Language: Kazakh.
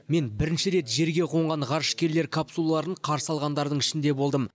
мен бірінші рет жерге қонған ғарышкерлер капсулаларын қарсы алғандардың ішінде болдым